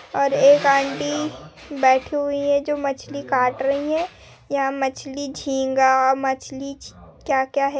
और एक आँटी बैठी हुई है जो मछली काट रही है यहां मछली जिंगा मछली जी क्या क्या है ।